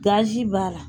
Gazi b'a la